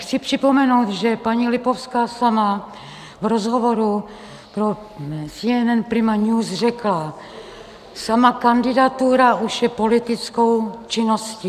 Chci připomenout, že paní Lipovská sama v rozhovoru pro CNN Prima News řekla: "Sama kandidatura už je politickou činností."